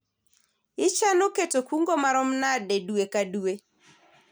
ichano keto kungo marom nade dwe ka dwe ?